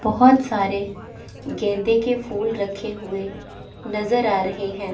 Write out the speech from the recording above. बहोत सारे गेंदे के फूल रखे हुए नजर आ रहे हैं।